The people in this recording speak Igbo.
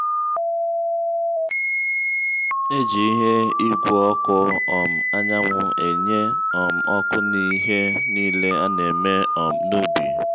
eji ihe igwe ọkụ um anyanwụ enye um ọkụ n'ihe niile ana-eme um n'ubi